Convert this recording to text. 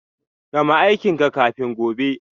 Gama aikin ka kafin gobe.